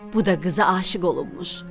Bu da qıza aşiq olunmuş.